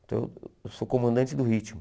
Então, eu sou comandante do ritmo.